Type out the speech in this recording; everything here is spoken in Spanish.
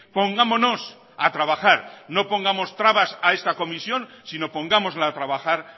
pongámonos a trabajar no pongamos trabas a esta comisión sino pongámosla a trabajar